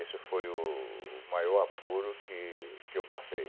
Esse foi o o maior apuro que que eu passei.